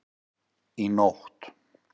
Í nótt